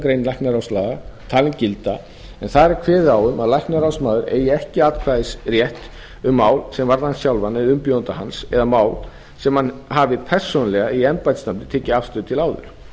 grein læknaráðslaga talin gilda en þar er kveðið á um að læknaráðsmaður eigi ekki atkvæðisrétt um mál sem varða hann sjálfan eða umbjóðanda hans eða mál sem hann hefur persónulega eða í embættisnafni tekið afstöðu til áður